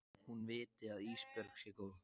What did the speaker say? Hún viti að Ísbjörg sé góð.